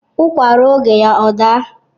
Ukwa rụọ oge ya adaa